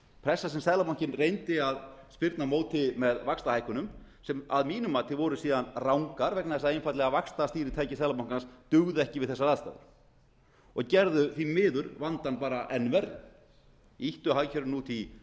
pressa sem seðlabankinn reyndi að spyrna á móti með vaxtahækkunum sem að mínu mati voru síðan rangar vegna þess að einfaldlega vaxtastýritæki seðlabankans dugði ekki við þessar aðstæður og gerðu því miður vandann enn verri ýttu hagkerfinu út í